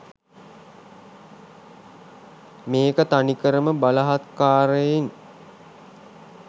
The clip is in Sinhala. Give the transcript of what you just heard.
මේක තනිකරම බලහත්කාරයෙන්